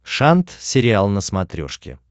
шант сериал на смотрешке